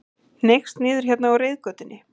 Hneigst niður hérna á reiðgötunni.